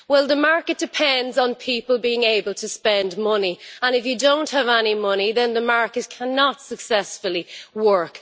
Well, the market depends on people being able to spend money, and if you don't have any money, then the markets cannot successfully work.